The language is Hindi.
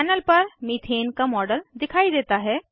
पैनल पर मेथेन का मॉडल दिखाई देता है